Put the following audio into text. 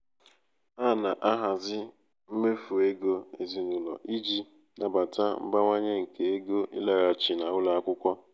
a na-ahazi mmefu ego ezinụlọ iji um nabata mbawanye nke ego ịlaghachi um n'ụlọ akwụkwọ.